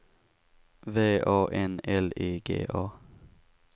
V A N L I G A